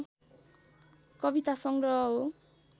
कवितासङ्ग्रह हो